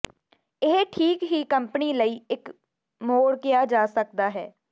ਇਹ ਠੀਕ ਹੀ ਕੰਪਨੀ ਲਈ ਇੱਕ ਮੋੜ ਕਿਹਾ ਜਾ ਸਕਦਾ ਹੈ